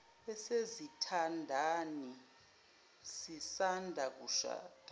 esezithandani zisanda kushada